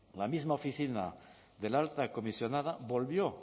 la misma oficina de la alta comisionada volvió